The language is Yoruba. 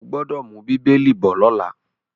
O gbọ́dọ̀ mú “bíbélì” bọ̀ lọ́la.